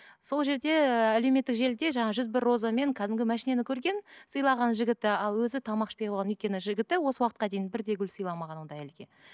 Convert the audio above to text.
сол жерде әлеуметтік желіде жаңа жүз бір розамен кәдімгі машинаны көрген сыйлағанын жігіті ал өзі тамақ ішпей қойған өйткені жігіті осы уақытқа дейін бір де гүл сыйламаған ондай әйелге